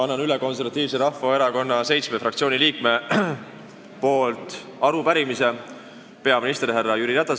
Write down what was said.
Annan Konservatiivse Rahvaerakonna fraktsiooni seitsme liikme nimel üle arupärimise peaminister härra Jüri Ratasele.